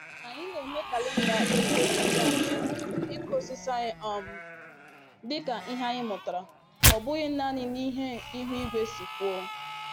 Anyị na-eme kalenda ịkụ osisi anyị ịkụ osisi anyị um dịka ihe anyị mụtara, ọ bụghị naanị n'ihe ihu igwe si kwuo.